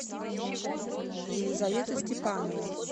елизавета степанова